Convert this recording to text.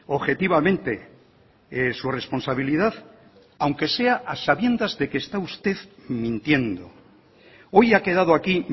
objetivamente su responsabilidad aunque sea a sabiendas de que está usted mintiendo hoy ha quedado aquí